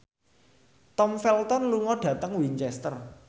Tom Felton lunga dhateng Winchester